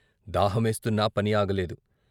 దాహమేస్తున్నా పని ఆగలేదు.